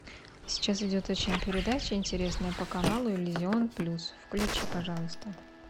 сейчас идет очень передача интересная по каналу иллюзион плюс включи пожалуйста